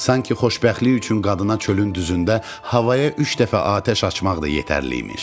Sanki xoşbəxtlik üçün qadına çölün düzündə havaya üç dəfə atəş açmaq da yetərli imiş.